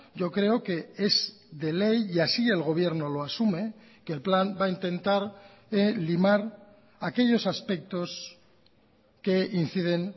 yo creo que es de ley y así el gobierno lo asume que el plan va a intentar limar aquellos aspectos que inciden